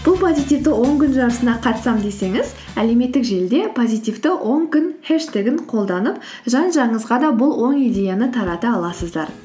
бұл позитивті он күн жарысына қатысамын десеңіз әлеуметтік желіде позитивті он күн хештегін қолданып жан жағыңызға да бұл оң идеяны тарата аласыздар